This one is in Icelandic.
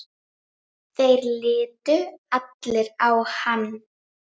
Þeir litu allir á hann.